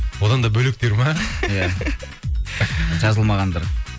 одан да бөлектер ме иә жазылмағандар